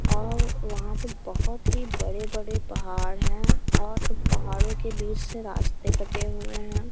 और वहाँं पर बहुत ही बड़े-बड़े पहाड़ हैं और पहाड़ों के बीच से रास्ते कटे हुए हैं।